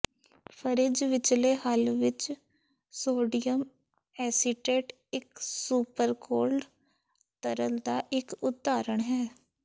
fridge ਵਿਚਲੇ ਹੱਲ ਵਿਚ ਸੋਡੀਅਮ ਐਸੀਟੇਟ ਇਕ ਸੁਪਰਕੋਲਡ ਤਰਲ ਦਾ ਇਕ ਉਦਾਹਰਣ ਹੈ